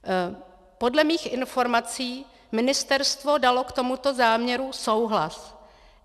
Podle mých informací ministerstvo dalo k tomuto záměru souhlas.